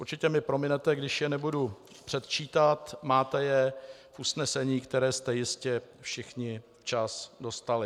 - Určitě mi prominete, když je nebudu předčítat, máte je v usnesení, které jste jistě všichni včas dostali.